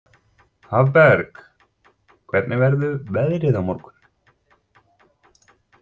Hafberg, hvernig verður veðrið á morgun?